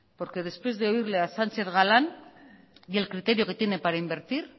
porque después de oírle a sánchez galán y el criterio que tiene para invertir